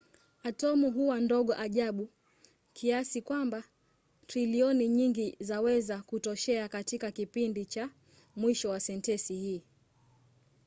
atomu huwa ndogo ajabu kiasi kwamba trilioni nyingi zaweza kutoshea katika kipindicha mwisho wa sentensi hii